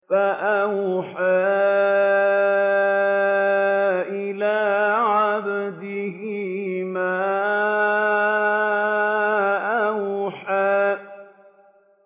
فَأَوْحَىٰ إِلَىٰ عَبْدِهِ مَا أَوْحَىٰ